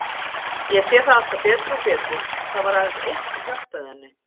Ég sé það alltaf betur og betur að það var aðeins eitt sem hjálpaði henni.